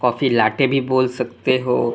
काफी लाटे भी बोल सकते हो।